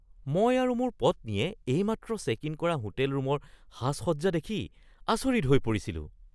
মই আৰু মোৰ পত্নীয়ে এইমাত্ৰ চেক-ইন কৰা হোটেল ৰূমৰ সাজসজ্জা দেখি আচৰিত হৈ পৰিছিলো।